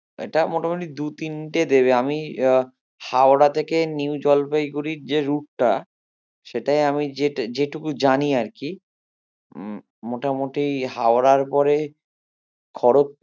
এটা মোটামোটি দু তিনটে দেবে আমি আহ হাওড়া থেকে নিউ জলপাইগুড়ির যে route টা সেটাই আমি যে~ যেটুকু জানি আর কি উম মোটামুটি হাওড়ার পরে